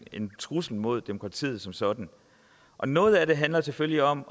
en trussel mod demokratiet som sådan noget af det handler selvfølgelig om